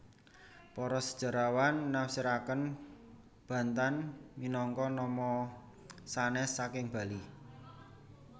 Para sejarawan nafsiraken Bantan minangka nama sanes saking Bali